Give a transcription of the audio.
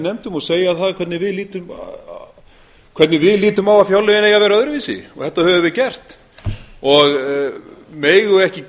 nefndum og segja hvernig við lítum á að fjárlögin eigi að vera öðruvísi þetta höfum við gert megum við ekki